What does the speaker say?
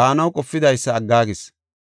baanaw qopidaysa aggaagis.